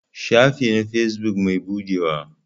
Shafi na na fesbuk bai buɗewa.